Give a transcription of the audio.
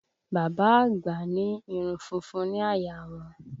Bàbá àgbà ní irun funfun ní àyà a wọn